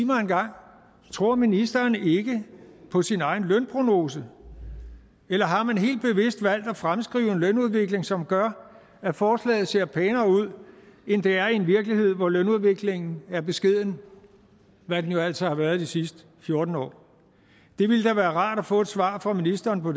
mig engang tror ministeren ikke på sin egen lønprognose eller har man helt bevidst valgt at fremskrive en lønudvikling som gør at forslaget ser pænere ud end det er i en virkelighed hvor lønudviklingen er beskeden hvad den jo altså har været i de sidste fjorten år det ville da være rart at få et svar fra ministeren på